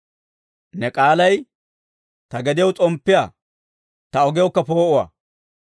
Ne k'aalay ta gediyaw s'omppiyaa, ta ogiyawukka poo'uwaa.